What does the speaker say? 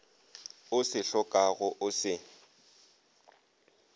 o se hlokago o se